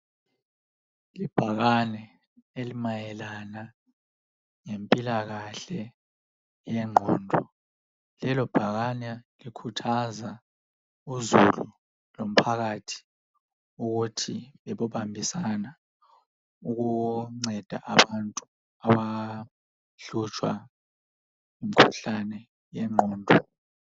Ibhakane elimayelana lempilakahle eyengqondo, lelo bhakane likhuthaza uzulu lomphakathi ukuthi bebobambisana ukunceda abantu abahlutshwa ngumkhuhlane wengqondo.